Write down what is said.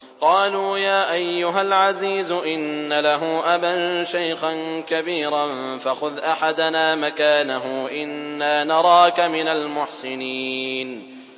قَالُوا يَا أَيُّهَا الْعَزِيزُ إِنَّ لَهُ أَبًا شَيْخًا كَبِيرًا فَخُذْ أَحَدَنَا مَكَانَهُ ۖ إِنَّا نَرَاكَ مِنَ الْمُحْسِنِينَ